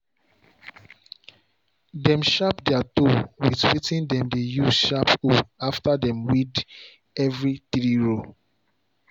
dem sharp their hoe with wetin dem dey use sharp hoe after dem weed every three row.